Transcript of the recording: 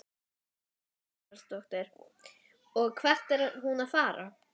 Lára Ómarsdóttir: Og hvert er hún að fara?